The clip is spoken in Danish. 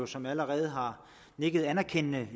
som allerede har nikket anerkendende